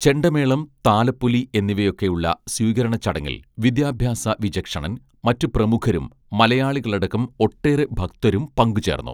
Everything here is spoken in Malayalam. ചെണ്ടമേളം താലപ്പൊലി എന്നിവയൊക്കെയുള്ള സ്വീകരണച്ചടങ്ങിൽ വിദ്യാഭ്യാസ വിചക്ഷണൻ മറ്റു പ്രമുഖരും മലയാളികളടക്കം ഒട്ടേറെ ഭക്തരും പങ്കുചേർന്നു